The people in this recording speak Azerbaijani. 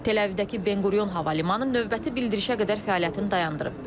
Tel-Əvivdəki Ben Quriyon Hava Limanı növbəti bildirişə qədər fəaliyyətini dayandırıb.